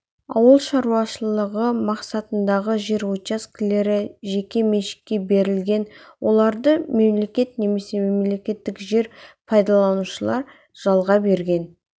ауыл шаруашылығы мақсатындағы жер учаскелері жеке меншікке берілген оларды мемлекет немесе мемлекеттік жер пайдаланушылар жалға берген